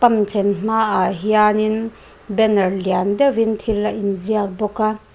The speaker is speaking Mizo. pump thlen hmaah hianin banner lian deuhin thil a inziak bawk a.